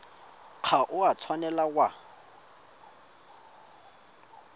ga o a tshwanela wa